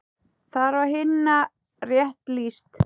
Þar var Hinna rétt lýst.